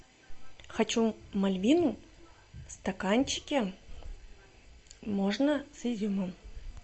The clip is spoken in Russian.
хочу мальвину в стаканчике можно с изюмом